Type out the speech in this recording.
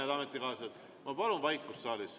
Head ametikaaslased, ma palun saalis vaikust.